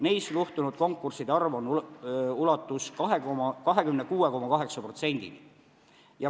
Neis luhtus konkurssidest 26,8%.